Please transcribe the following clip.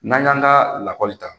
N'an y'an ka lakɔli ta,